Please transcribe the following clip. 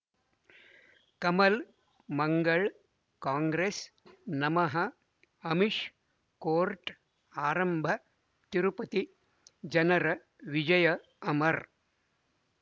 ಕಮಲ್ ಮಂಗಳ್ ಕಾಂಗ್ರೆಸ್ ನಮಃ ಅಮಿಷ್ ಕೋರ್ಟ್ ಆರಂಭ ತಿರುಪತಿ ಜನರ ವಿಜಯ ಅಮರ್